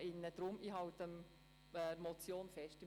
Deshalb halte ich an Punkt 2 der Motion fest.